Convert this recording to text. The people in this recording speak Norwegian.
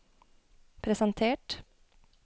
presentert